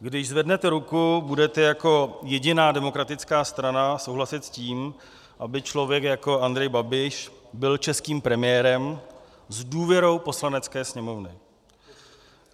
Když zvednete ruku, budete jako jediná demokratická strana souhlasit s tím, aby člověk jako Andrej Babiš byl českým premiérem s důvěrou Poslanecké sněmovny.